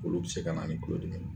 Olu bi se ka na ni kulodimi